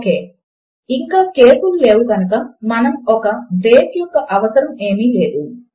okay ఇంకా case లు లేవు కనుక మనకు ఒక బ్రేక్ యొక్క అవసరము ఏమీ లేదు